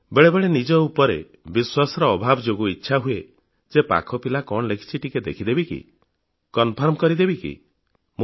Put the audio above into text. ବେଳେବେଳେ ନିଜ ଉପରେ ବିଶ୍ବାସର ଅଭାବ ଯୋଗୁଁ ଇଚ୍ଛା ହୁଏ ଯେ ପାଖ ପିଲା କଣ ଲେଖିଛି ଟିକେ ଦେଖିଦେବି କି ଉତ୍ତରଟା ତାର ଖାତା ଦେଖି କନଫର୍ମ କରିଦେବି କି